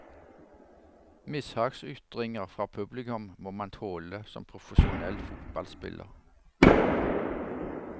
Mishagsytringer fra publikum må man tåle som profesjonell fotballspiller.